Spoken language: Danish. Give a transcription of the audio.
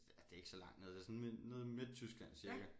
Ja det er ikke så langt nede det sådan nede i Midttyskland cirka